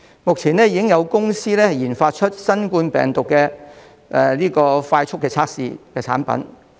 目前已經有公司研發出新冠病毒的快速測試產品。